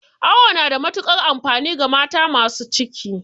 Awo na da matukar amfani ga mata masu ciki